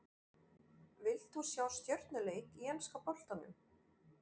Vilt þú sjá stjörnuleik í enska boltanum?